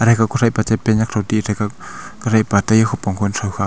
kuthai pa che pant nyak kuthai pa tai kupong kutho khak.